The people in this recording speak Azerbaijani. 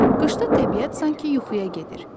Qışda təbiət sanki yuxuya gedir.